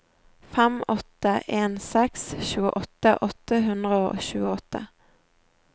fem åtte en seks tjueåtte åtte hundre og tjueåtte